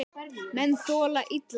Menn þola illa það.